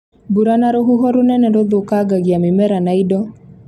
Mbura na rũhuho runene rũthũkangagia mĩmera na indo